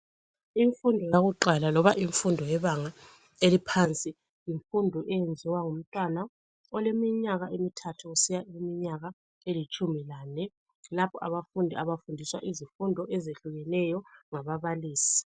Imfundo yakuqala loba imfundo yebanga eliphansi yimfundo eyenziwa ngumntwana oleminyaka emithathu kusiya kwelitshumi lane lapho abafundi abafundiswa izifundo ezehlukeneyo ngababalisi.